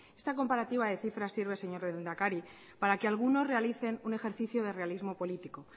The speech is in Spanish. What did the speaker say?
esta comparativa de cifras sirve señor lehendakari para que algunos realicen un ejercicio de realismo político